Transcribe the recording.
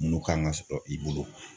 Munnu kan ka sɔrɔ i bolo